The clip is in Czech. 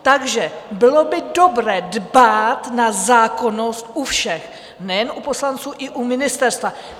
Takže bylo by dobré dbát na zákonnost u všech, nejen u poslanců, i u ministerstva.